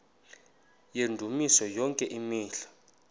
yendumiso yonke imihla